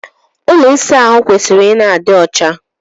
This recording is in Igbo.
Ụlọ ịsa ahụ kwesịrị ị na-adị ọcha.